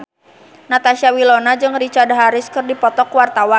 Natasha Wilona jeung Richard Harris keur dipoto ku wartawan